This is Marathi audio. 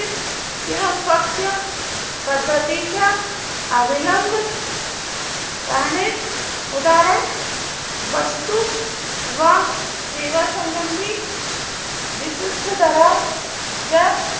अपत्य पद्धतीच्या अवलंब करणे उदाहरण वस्तू व सेवा संबंधी विशिष्ट्य दरा च्या